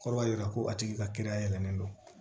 Kɔrɔ b'a jira ko a tigi ka kiiri da yɛlɛlen don